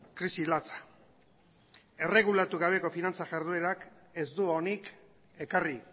krisi latza erregulatu gabeko finantza jarduerak ez du onik ekarri